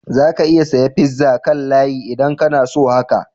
Za ka iya saya pizza kan layi idan kana so haka.